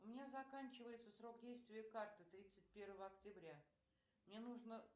у меня заканчивается срок действия карты тридцать первого октября мне нужно